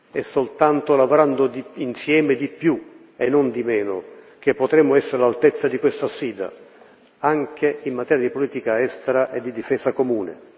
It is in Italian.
È soltanto lavorando insieme di più e non di meno che potremmo essere all'altezza di questa sfida, anche in materia politica estera e di difesa comune.